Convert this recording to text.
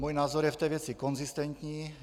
Můj názor je v té věci konzistentní.